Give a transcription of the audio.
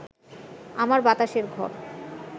আমার বাতাসের ঘর